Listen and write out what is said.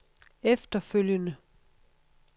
efterfølgende